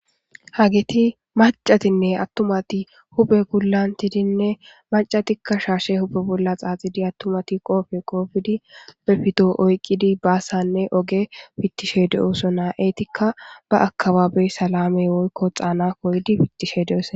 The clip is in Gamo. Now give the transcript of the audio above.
Hageti macatinne attumati hupe gulantidinne macatikka shaashe huphe bolla xaaxidi attumati qoofe qoofidi befito oyqqidi baassanne oge fittishe de'oso naa'eetikka ba akababey salame woykko xaana koydi pittishe de'ose.